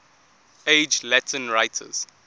age latin writers